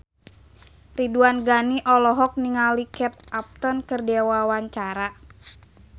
Ridwan Ghani olohok ningali Kate Upton keur diwawancara